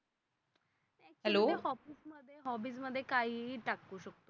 Hobbies मध्ये काहीही टाकतात लोक.